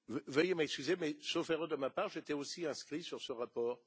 Veuillez m'excuser mais, sauf erreur de ma part, j'étais aussi inscrit sur ce rapport.